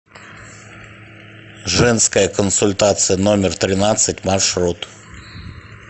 женская консультация номер тринадцать маршрут